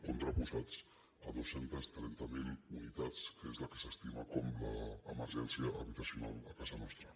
contraposats a dos cents i trenta miler unitats que és el que s’estima com l’emergència habitacional a casa nostra